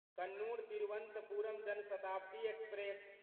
Kannur Thiruvananthapuram Jan Shatabdi express